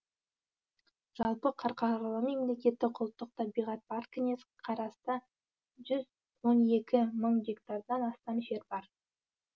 жалпы қарқаралы мемлекеттік ұлттық табиғат паркіне қарасты жүз он екі мың гектардан астам жер бар